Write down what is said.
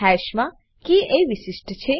હાશ મા કે એ વિશિષ્ટ છે